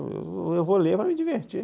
Eu vou ler para me divertir.